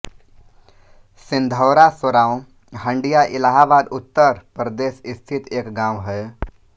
सिंधौरा सोराँव हंडिया इलाहाबाद उत्तर प्रदेश स्थित एक गाँव है